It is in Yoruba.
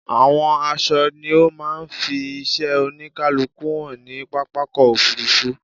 Àwọn aṣọ ni ó máa ń fi iṣẹ́ oníkálukú hàn ní pápákọ̀ òfurufú.